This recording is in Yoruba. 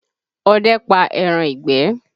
Ọdẹ pa ẹran ìgbẹ́